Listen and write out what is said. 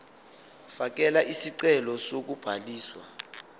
fakela isicelo sokubhaliswa